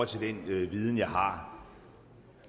til den viden jeg har